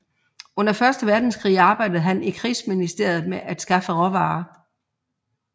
Under Første Verdenskrig arbejdede han i Krigsministeriet med at skaffe råvarer